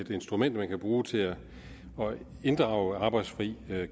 instrument man kan bruge til at inddrage arbejdsfri